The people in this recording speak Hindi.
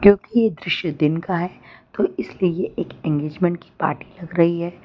ये दृश्य दिन का है तो इसलिए ये एक इंगेजमेंट की पार्टी लग रही है।